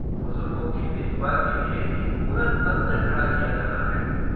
बुजुर्गों की देखभाल के लिए एक पूरा तंत्र खड़ा किया जाना है।